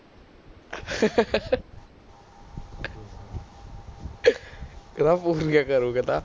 ਕਰਾ ਕਰੋ ਕਹਿੰਦਾ